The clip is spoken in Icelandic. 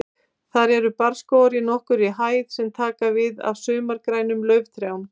Þar eru barrskógar í nokkurri hæð sem taka við af sumargrænum lauftrjám.